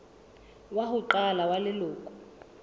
wa ho qala wa leloko